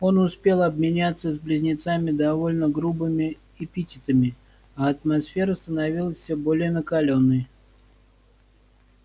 он успел обменяться с близнецами довольно грубыми эпитетами а атмосфера становилась всё более накалённой